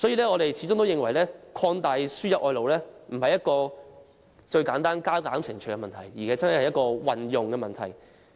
我們認為擴大輸入外勞並非簡單的加減乘除問題，而是牽涉如何運用的問題。